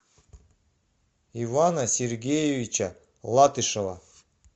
ивана сергеевича латышева